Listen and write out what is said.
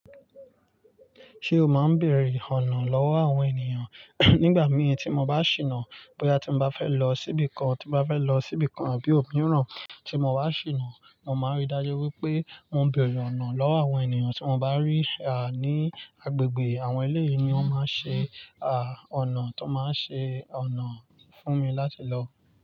Ṣé o máa ń bèrè ọ̀nà lọ́wọ́ àwọn ènìyàn? Nígbà mí tí mo bá ṣìnà, bóyá tí mo bá fẹ́ lọ síbìkan, tí mo bá fẹ́ lọ síbìkan bí òmíràn tí mo wá ṣìnà, mo máa rí dájú wípé mo ń bèrè ọ̀nà lọ́wọ́ àwọn ènìyàn tí mo bá rí. À, ní agbègbè àwọn eléyii ni wọ́n máa ń ṣe, à, ọ̀nà tó máa ń ṣe ọ̀nà fún mi láti lọ.